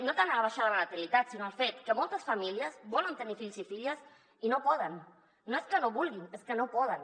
no tant a la baixada de la natalitat sinó al fet que moltes famílies volen tenir fills i filles i no poden no és que no vulguin és que no poden